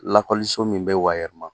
Lakɔliso min bɛ wayɛrɛma